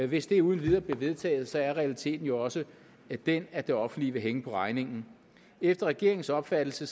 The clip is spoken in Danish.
hvis det uden videre bliver vedtaget er realiteten jo også den at det offentlige vil hænge på regningen efter regeringens opfattelse